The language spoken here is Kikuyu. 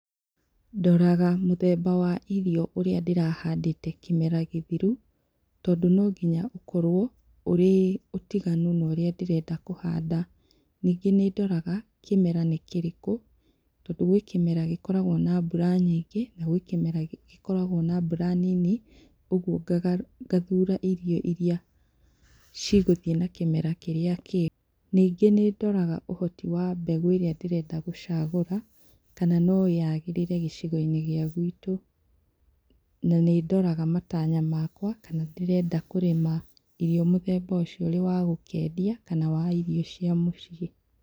Ndoraga mũthemba wa irio ũrĩa ndĩrahandĩte kĩmera gĩthiru tondũ no nginya ũkorwo ũrĩ ũtiganu na ũrĩa ndĩrenda kũhanda. Ningĩ nĩ ndoraga kĩmera nĩ kĩrĩkũ, tondũ gwĩ kĩmera gĩkoragwo na mbura nyingĩ na gwĩ kĩmera gĩkoragwo na mbura nini, ũguo ngathura irio iria ciĩ gũthiĩ na kĩmera kĩrĩa kĩega, ningĩ nĩ ndoraga ũhoti wa mbegũ ĩrĩa ndĩrenda gũchagũra kana no yagĩrĩre gĩcigo-inĩ gĩa gwitũ na nĩ ndoraga matanya makwa ndĩrenda kũrĩma irio mũthemba ũcio ũrĩ wa gũkendia kana ũrĩ wa irio cia mũciĩ.